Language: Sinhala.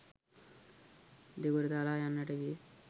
දෙගොඩ තලා යන්නට විය.